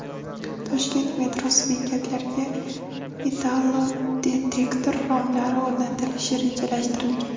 Toshkent metrosi bekatlariga metallodetektor romlari o‘rnatilishi rejalashtirilgan.